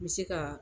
N bɛ se ka